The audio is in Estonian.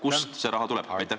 Kust see raha tuleb?